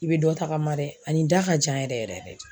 I bɛ dɔ tagama dɛ ani da ka jan yɛrɛ yɛrɛ de